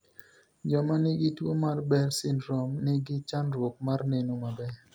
Joma ni gi tuo mar Behr syndrome ni gi chandruok mar neno maber.